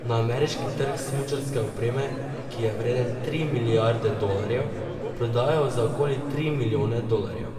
Na ameriški trg smučarske opreme, ki je vreden tri milijarde dolarjev, prodajo za okoli tri milijone dolarjev.